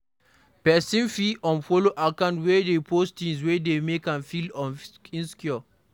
Person fit unfollow accounts wey dey post things wey dey make am feel insecure